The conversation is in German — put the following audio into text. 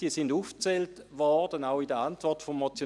diese wurden aufgezählt, auch in der Antwort auf die Motion.